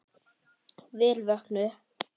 Vel vöknuð!